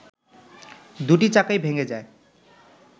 দুটি চাকাই ভেঙে যায়